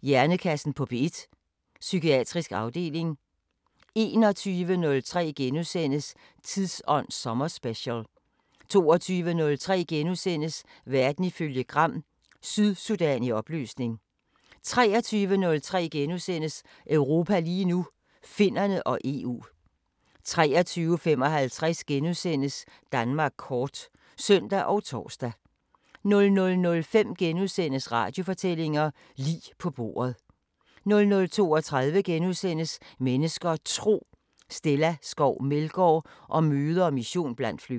Hjernekassen på P1: Psykiatrisk afdeling * 21:03: Tidsånd sommerspecial * 22:03: Verden ifølge Gram: Sydsudan i opløsning * 23:03: Europa lige nu: Finnerne og EU * 23:55: Danmark kort *(søn og tor) 00:05: Radiofortællinger: Lig på bordet * 00:32: Mennesker og Tro: Stella Skov Meldgaard om møder og mission blandt flygtninge * 01:03: Skønlitteratur på P1: Feminisme, seksuel frigørelse og kærlighed * 02:03: Bagklog på P1: 2017 med søskende-øjne: Mette Bock og Anders Samuelsen * 04:03: Europa lige nu: Finnerne og EU *